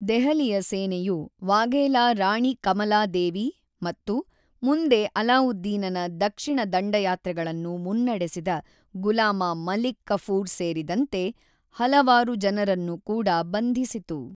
ದೆಹಲಿಯ ಸೇನೆಯು ವಾಘೇಲಾ ರಾಣಿ ಕಮಲಾ ದೇವಿ ಮತ್ತು ಮುಂದೆ ಅಲಾವುದ್ದೀನನ ದಕ್ಷಿಣ ದಂಡಯಾತ್ರೆಗಳನ್ನು ಮುನ್ನಡೆಸಿದ ಗುಲಾಮ ಮಲಿಕ್ ಕಫೂರ್ ಸೇರಿದಂತೆ ಹಲವಾರು ಜನರನ್ನು ಕೂಡ ಬಂಧಿಸಿತು.